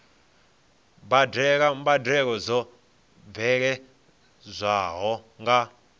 badela mbadelo dzo bveledzwaho nga